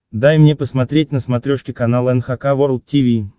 дай мне посмотреть на смотрешке канал эн эйч кей волд ти ви